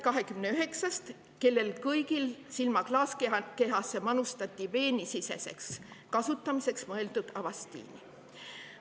… 29-st, kellele kõigile manustati silma klaaskehasse veenisiseseks kasutamiseks mõeldud Avastini.